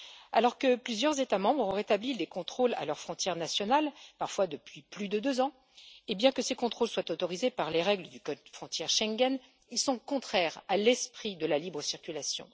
Alors que plusieurs États membres ont rétabli les contrôles à leurs frontières nationales, parfois depuis plus de deux ans, et bien que ces contrôles soient autorisés par les règles du code frontières Schengen, ils sont contraires à l'esprit de la libre circulation.